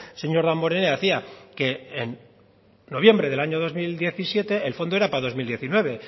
señor damborenea decía que en noviembre del año dos mil diecisiete el fondo era para dos mil diecinueve